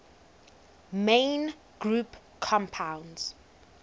main group compounds